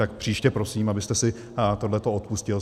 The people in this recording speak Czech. Tak příště prosím, abyste si tohle odpustil!